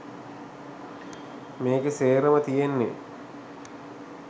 මේකේ සේරම තියෙන්නෙ